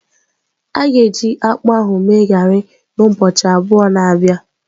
A ga-eji akpụ ahụ mee garị na ubọọchi abụọ na bia.